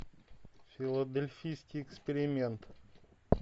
филадельфийский эксперимент